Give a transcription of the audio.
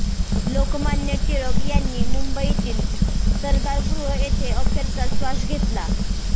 लोकमान्य टिळक यांनी मुंबईतील सरदारगृह येथे अखेरचा श्वास घेतला